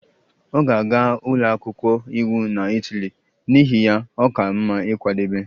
Ọ ga-aga ụlọ akwụkwọ iwu na Itali, n'ihi ya, ọ ka mma ịkwadebe